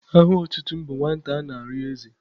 Aha otutu m bụ Nwata ana-arịọ eze.